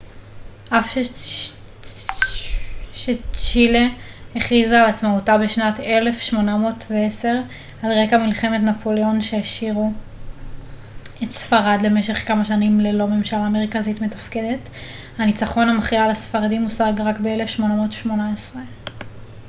אף שצ'ילה הכריזה על עצמאותה בשנת 1810 על רקע מלחמות נפוליאון שהשאירו את ספרד למשך כמה שנים ללא ממשלה מרכזית מתפקדת הניצחון המכריע על הספרדים הושג רק ב-1818